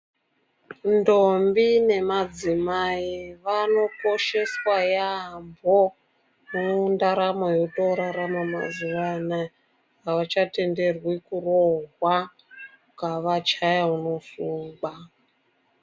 Ndombi nemadzimai vanokosheswa yampho mundaramo yotorarama mazuwa anaya, avachatenderwi kurohwa ukavachaya, unosungwa.